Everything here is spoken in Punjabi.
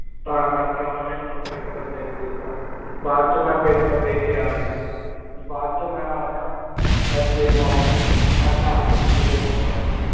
ਤਾ ਕੇਰ ਕੀ ਓਨਾ ਨੀ ਮੀਨੁ paper ਦਿਨ ਦਿਤਾ ਬਾਅਦ ਚੋ ਮੈਂ paper ਦੀ ਕੀ ਆ ਗਿਆ ਬਾਅਦ ਚੋ ਮੈਂ ਯਾ ਆਯਤੇ ਮੋਲੀ ਮੈਂ park ਚ ਮਿਲਾਯਾ ਓਨਾ ਨੂ